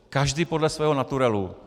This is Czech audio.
Každý podle svého naturelu.